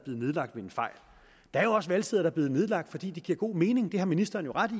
nedlagt ved en fejl der er også valgsteder der er blevet nedlagt fordi det giver god mening det har ministeren jo ret i